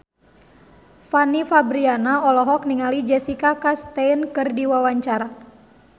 Fanny Fabriana olohok ningali Jessica Chastain keur diwawancara